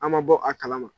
An ma bɔ a kalama